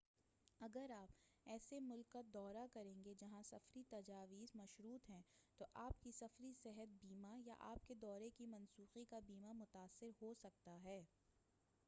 اگر آپ ایسے ملک کا دورہ کریں گے جہاں سفری تجاویز مشروط ہے تو آپ کی سفری صحت بیمہ یا آپ کے دورے کی منسوخی کا بیمہ متاثر ہوسکتا ہے